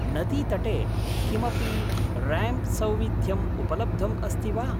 नदीतटे किमपि रैम्प् सौविध्यम् उपलब्धम् अस्ति वा?